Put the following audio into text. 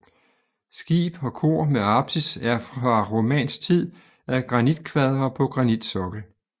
Skib og kor med apsis er fra romansk tid af granitkvadre på granitsokkel